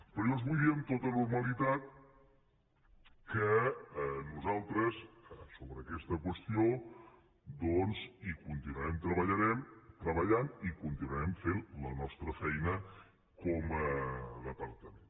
però jo els vull dir amb tota normalitat que nosaltres en aquesta qüestió hi continuarem treballant i continuarem fent la nostra feina com a departament